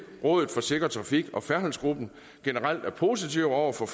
rådet for sikker trafik og færdselsgruppen generelt er positive over for